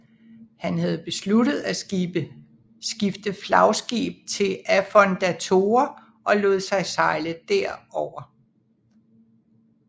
Han havde besluttet at skifte flagskib til Affondatore og lod sig sejle derover